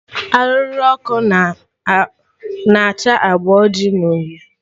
Arụrụ ọkụ na acha agba oji na uhie